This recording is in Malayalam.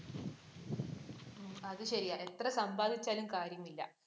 അത് ശരിയാ, എത്ര സമ്പാദിച്ചാലും കാര്യമില്ല.